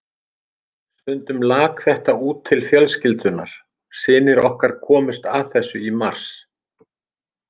Stundum lak þetta út til fjölskyldunnar, synir okkar komust að þessu í mars.